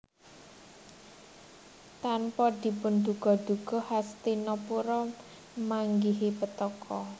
Tanpa dipun duga duga Hastinapura manggihi petaka